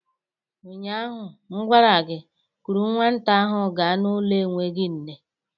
Ụnyaahụ m gwara gị, kuru nwata ahụ ga n'ụlọ enweghị nne!